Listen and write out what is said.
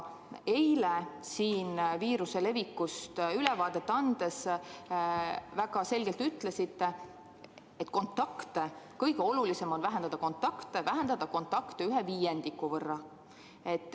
Eile siin viiruse levikust ülevaadet andes te väga selgelt ütlesite, et kõige olulisem on vähendada kontakte, vähendada kontakte ühe viiendiku võrra.